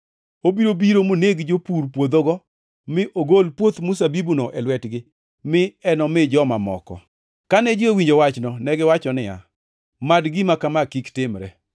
Obiro biro moneg jopur puodhogo mi ogol puoth mzabibuno e lwetgi mi enomi joma moko.” Kane ji owinjo wachno, negiwacho niya, “Mad gima kama kik timre!”